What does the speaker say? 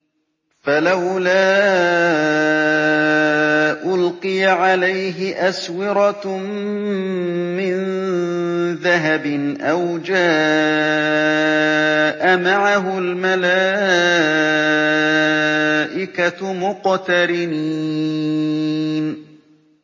فَلَوْلَا أُلْقِيَ عَلَيْهِ أَسْوِرَةٌ مِّن ذَهَبٍ أَوْ جَاءَ مَعَهُ الْمَلَائِكَةُ مُقْتَرِنِينَ